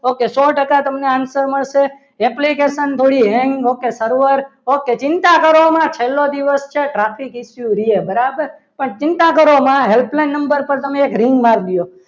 okay સો ટકા તમને answer મળશે application થોડી હેંગ server ઓકે ચિંતા કરવામાં છેલ્લો દિવસ છે traffic એટલું રહે બરાબર પણ ચિંતા કરવામાં helpline number પર એક ring મારી દો.